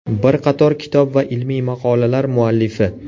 Bir qator kitob va ilmiy maqolalar muallifi.